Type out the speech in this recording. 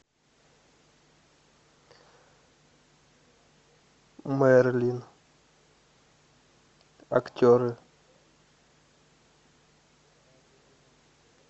мерлин актеры